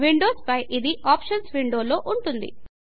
Windows పై ఇది options window లో ఉంటుంది